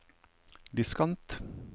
diskant